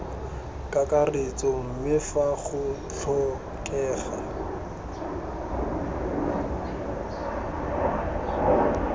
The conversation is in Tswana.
kakaretso mme fa go tlhokega